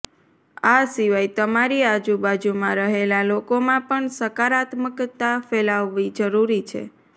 આ સિવાય તમારી આજુબાજુમાં રહેલા લોકોમાં પણ સકારાત્મકતા ફેલાવવી જરૂરી છે